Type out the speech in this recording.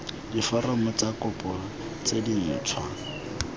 diforomo tsa kopo tse dintšhwa